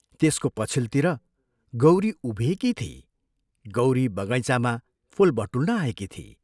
त्यसको पछिल्तिर गौरी उभिएकी थिई गौरी बगैँचामा फूल बटुल्न आएकी थिई।